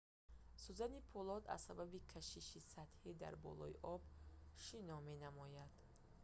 сӯзани пӯлод аз сабаби кашиши сатҳӣ дар болои об шино менамояд